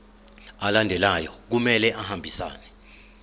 alandelayo kumele ahambisane